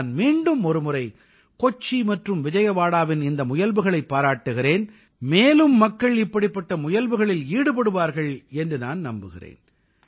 நான் மீண்டுமொரு முறை கொச்சி மற்றும் விஜயவாடாவின் இந்த முயல்வுகளைப் பாராட்டுகிறேன் மேலும் மக்கள் இப்படிப்பட்ட முயல்வுகளில் ஈடுபடுவார்கள் என்று நான் நம்புகிறேன்